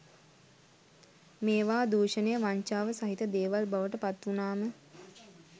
මේවා දූෂණය වංචාව සහිත දේවල් බවට පත්වුණාම